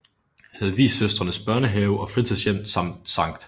Hedvigsøstrenes Børnehave og Fritidshjem samt Sct